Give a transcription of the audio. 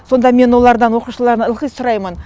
сонда мен олардан оқушылардан ылғи сұраймын